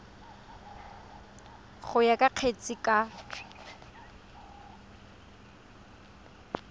go ya ka kgetse ka